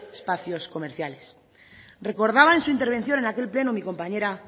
espacios comerciales recordaba en su intervención en aquel pleno mi compañera